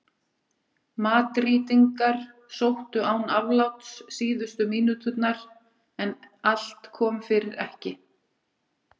Madrídingar sóttu án afláts síðustu mínúturnar en allt kom fyrir ekki.